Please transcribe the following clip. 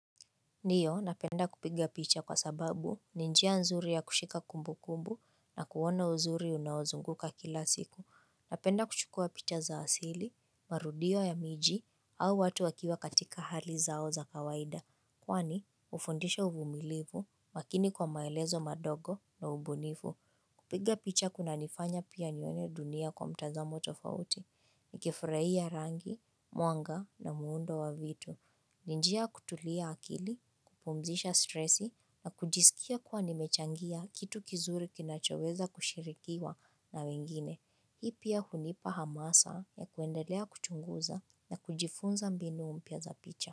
Ndio, napenda kupiga picha kwa sababu, ninjia nzuri ya kushika kumbu kumbu na kuona uzuri unaozunguka kila siku. Napenda kuchukua picha za asili, marudio ya miji au watu wakiwa katika hali zao za kawaida. Kwani, ufundisha uvumilivu, makini kwa maelezo madogo na ubunifu kupiga picha kuna nifanya pia nione dunia kwa mtazamo tofauti, nikifurahi ya rangi, mwanga na muundo wa vitu. Ninjia kutulia akili, kupumzisha stresi na kujisikia kwa nimechangia kitu kizuri kinachoweza kushirikiwa na wengine. Hii pia hunipa hamasa ya kuendelea kuchunguza na kujifunza mbinu mpya za picha.